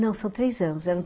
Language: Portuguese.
Não são três anos...